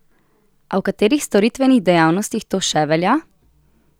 A v katerih storitvenih dejavnostih to še velja?